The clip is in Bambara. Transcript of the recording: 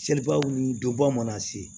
Seliba wulu dɔba mana se